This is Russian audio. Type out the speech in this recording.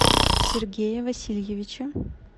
сергее васильевиче